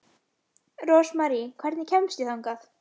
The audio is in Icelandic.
Rósmarý, hvernig kemst ég þangað?